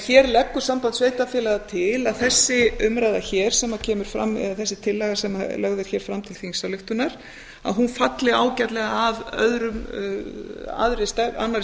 hér leggur samband sveitarfélaga því til að þessi umræða hér eða þessi tillaga sem lögð er hér fram til þingsályktunar að hún falli ágætlega að annarri